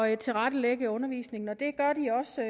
at tilrettelægge undervisningen og det gør de også